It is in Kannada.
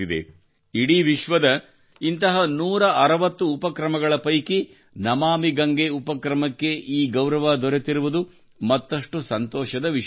ಇಡೀ ವಿಶ್ವದ ಇಂತಹ 160 ಉಪಕ್ರಮಗಳ ಪೈಕಿ ನಮಾಮಿ ಗಂಗೆ ಉಪಕ್ರಮಕ್ಕೆ ಈ ಗೌರವ ದೊರೆತಿರುವುದು ಮತ್ತಷ್ಟು ಸಂತೋಷದ ವಿಷಯವಾಗಿದೆ